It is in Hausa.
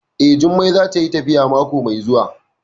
Eh, Jummai za ta yi tafiya mako mai zuwa